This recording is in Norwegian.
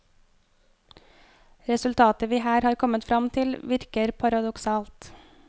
Resultatet vi her har kommet fram til, virker paradoksalt.